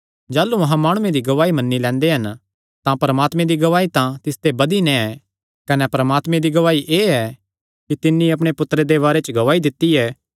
जाह़लू अहां माणुआं दी गवाही मन्नी लैंदे हन तां परमात्मे दी गवाही तां तिसते बधी नैं ऐ कने परमात्मे दी गवाही एह़ ऐ कि तिन्नी अपणे पुत्तरे दे बारे च गवाही दित्ती ऐ